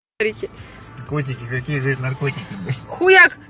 аа